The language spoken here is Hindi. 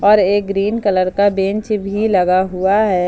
और एक ग्रीन कलर का बेंच भी लगा हुआ है।